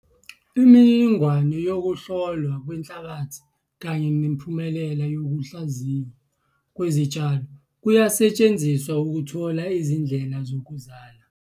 Imininingwane yokuhlolwa kwenhlabathi kanye nemiphumela yokuhlaziywa kwezitshalo kuyasetshenziswa ukuthola izindlela zokuzala.